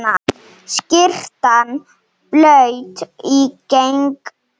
Skyrtan blaut í gegn.